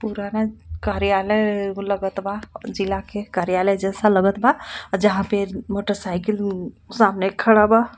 पुराना कार्यालय-य लगत बा जिला के कार्यालय जैसा लगत बा जहां पे मोटर साइकिल-उ सामने खड़ा बा.